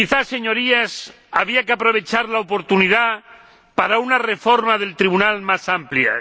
Señorías, quizás habría que aprovechar la oportunidad para una reforma del Tribunal más amplia